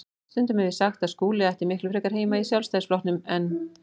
Stundum hef ég sagt að Skúli ætti miklu frekar heima í Sjálfstæðisflokknum en